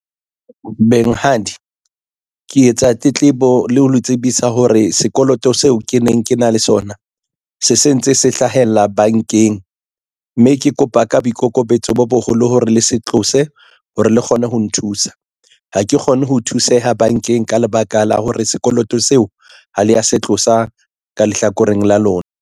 Benghadi ke etsa tletlebo le ho le tsebisa hore sekoloto seo ke neng ke na le sona se sentse se hlahella bankeng mme ke kopa ka boikokobetso bo boholo hore le se tlose hore le kgone ho nthusa ha ke kgone ho thuseha bankeng. Ka lebaka la hore sekoloto seo ha le ya se tlosa ka lehlakoreng la lona.